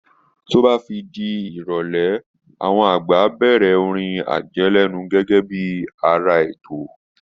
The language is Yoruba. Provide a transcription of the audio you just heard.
Tí ó bá máa fi di ìrọ̀lẹ́, àwọn àgbà á bẹ̀rẹ̀ orin àjẹlẹ́nu gẹ́gẹ́ bí ara ètò